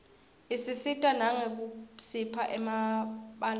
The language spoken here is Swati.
isisita nangekusipha emabalave